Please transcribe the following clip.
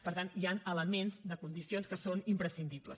per tant hi han elements de condicions que són imprescindibles